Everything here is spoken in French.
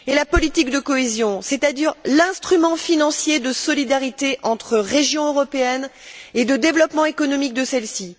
La politique de cohésion, c'est à dire l'instrument financier de solidarité entre régions européennes et le développement économique de celles ci